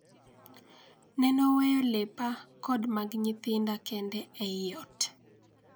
Nenoweyo lepa kod mag nyithinda kende ei ot.